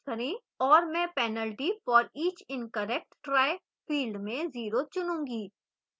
और मैं penalty for each incorrect try field में 0% रखूंगी